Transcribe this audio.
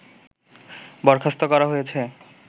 বরখাস্ত করা হয়েছে